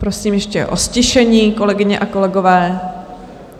Prosím ještě o ztišení, kolegyně a kolegové.